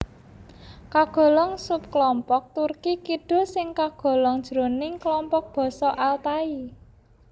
Kagolong subklompok Turki Kidul sing kagolong jroning klompok basa Altai